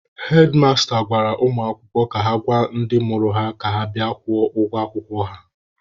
Hedmasta gwara ụmụ akwụkwọ ka ha gwa ndị mụrụ ha ka ha bịa kwụọ ụgwọ akwụkwọ ha.